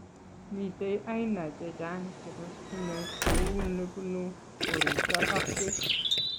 Mitei aina che chang chebo stimet kou nebunu koristo ak pek